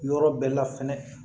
Yɔrɔ bɛɛ la fɛnɛ